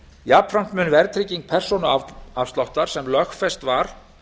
jafnframt mun verðtrygging persónuafsláttar sem lögfest var